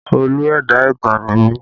Olú ẹ̀dá ìtàn ni mí